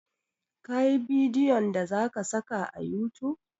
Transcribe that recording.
Ka yi bidiyon da za ka saka a youtube?